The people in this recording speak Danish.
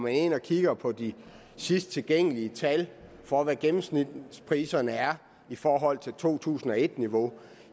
ind og kigger på de sidst tilgængelige tal for hvad gennemsnitspriserne er i forhold til to tusind og et niveau